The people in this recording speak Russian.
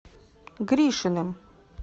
гришиным